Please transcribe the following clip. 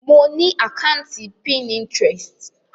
Mo ni àkàntí Pinterest.